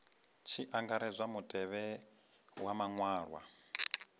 tshi angaredzwa mutevhe wa maṅwalwa